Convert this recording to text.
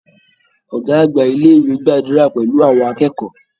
Ọ̀gá àgbà ilé-ìwe gbàdúrà pẹlú àwọn akẹ́kọ̀ọ́.